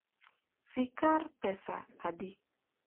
skar pesadi?